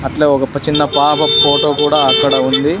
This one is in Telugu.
అట్లో ఒగ చిన్న పాప ఫోటో కూడా అక్కడ ఉంది.